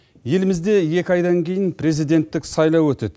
елімізде екі айдан кейін президенттік сайлау өтеді